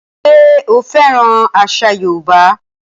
Ṣé o fẹ́ràn àṣà yóòbá?